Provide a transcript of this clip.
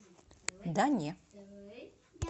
да не